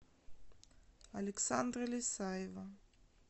александра лесаева